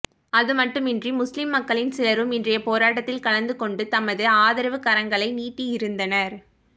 அதுமட்டுமன்றி முஸ்லிம் மக்களில் சிலரும் இன்றைய போராட்டத்தில் கலந்துகொண்டு தமது ஆதரவுக் கரங்களை நீட்டியிருந்தனர்